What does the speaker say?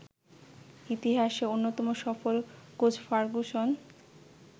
ইতিহাসের অন্যতম সফল কোচ ফার্গুসন